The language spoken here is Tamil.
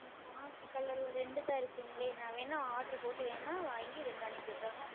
Mam பாக்கு Color ல இரெண்டு தான் இருக்குங்களே நான் வேணும்னா Order வேண்டுமென்றால் செய்து வாங்கி இரெண்டு அனுப்பி விடுகிறேன்